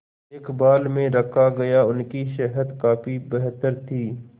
देखभाल में रखा गया उनकी सेहत काफी बेहतर थी